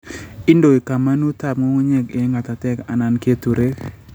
iindoi kamanuutap ng'ung'unyek eng' ng'atatek anan keturek